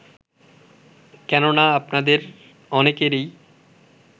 কেননা আপনাদের অনেকেরই